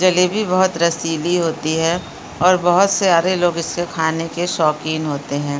जलेबी बहुत रसीली होती है और बहुत सारे लोग इससे खाने के शौकीन होते हैं।